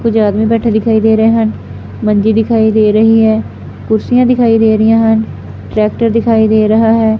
ਕੁਝ ਆਦਮੀ ਬੈਠਾ ਦਿਖਾਈ ਦੇ ਰਹੇ ਹਨ। ਮੰਜੀ ਦਿਖਾਈ ਦੇ ਰਹੀ ਹੈ। ਕੁਰਸੀਆਂ ਦਿਖਾਈ ਦੇ ਰਹੀਆਂ ਹਨ। ਟਰੈਕਟਰ ਦਿਖਾਈ ਦੇ ਰਿਹਾ ਹੈ।